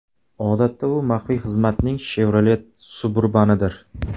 Odatda u maxfiy xizmatning Chevrolet Suburban’idir.